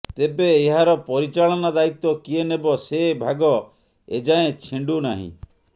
ତେବେ ଏହାର ପରିଚାଳନା ଦାୟିତ୍ବ କିଏ ନେବ ସେ ଭାଗ ଏଯାଏଁ ଛିଣ୍ଡୁନାହିଁ